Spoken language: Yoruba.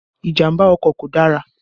Ìjàmbá ọkọ̀ kò dára